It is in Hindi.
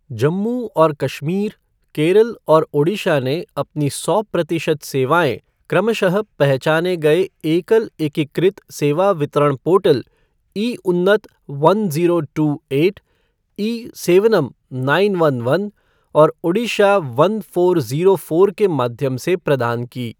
जम्मू और कश्मीर, केरल और ओडिशा ने अपनी सौ प्रतिशत सेवाएँ क्रमशः पहचाने गए एकल एकीकृत सेवा वितरण portal e Unnat one zero two eight, ई.सेवनम नाइन वन वन और Odisha one four zero four के माध्यम से प्रदान की ।